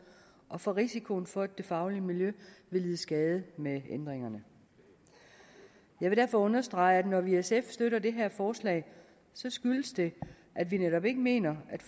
og for risikoen for at det faglige miljø vil lide skade med ændringerne jeg vil derfor understrege at når vi i sf støtter det her forslag skyldes det at vi netop ikke mener at